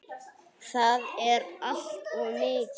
Það er allt of mikið.